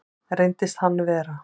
Reyndist hann vera